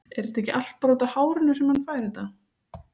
En er þetta ekki allt bara útaf hárinu sem hann fær þetta?